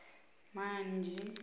manzhie